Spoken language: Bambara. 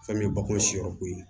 Fɛn min ye bakuru siyɔrɔ ko ye